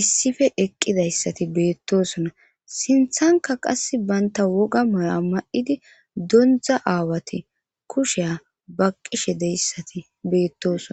issife eqqidayssati beettosona sinthanka qas banta woga mala ma7idi dondza aawati kusheya ba qishe deyssati beettosona.